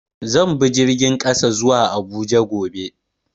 Zan bi jirgin ƙasa zuwa Abuja gobe.